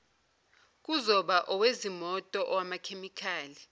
kuzoba owezimoto owamakhemikhali